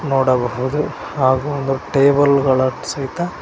ನೋಡಬಹುದು ಹಾಗು ಒಂದು ಟೇಬಲ್ ಗಳ ಸಹಿತ--